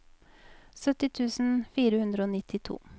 sytti tusen fire hundre og nittito